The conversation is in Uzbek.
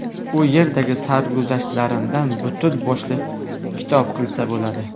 U yerdagi sarguzashtlarimdan butun boshli kitob qilsa bo‘ladi.